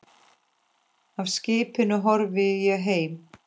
Af skipinu horfi ég heim.